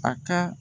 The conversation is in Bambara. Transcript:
A ka